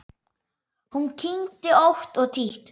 Hún kyngdi ótt og títt.